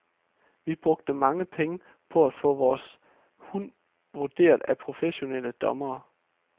Vi brugte mange penge på at få vores hunde vurderet af professionelle dommere.